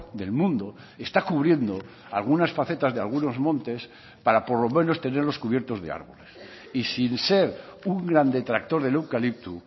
del mundo está cubriendo algunas facetas de algunos montes para por lo menos tenerlos cubiertos de árboles y sin ser un gran detractor del eucalipto